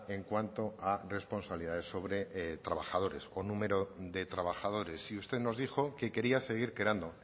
en cuanto a responsabilidades sobre trabajadores o número de trabajadores y usted nos dijo que quería seguir creando